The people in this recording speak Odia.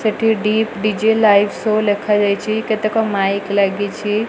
ସେଠି ଡିପ୍ ଡିଜେ ଲାଇଭ୍ ସୋ ଲେଖାଯାଇଚି। କେତେକ ମାଇକ୍ ଲାଗିଛି।